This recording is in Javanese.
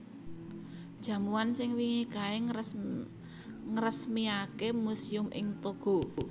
Jamuan sing wingi kae ngresmiake museum ing Togo